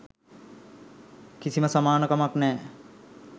කිසිම සමාන කමක් නෑ.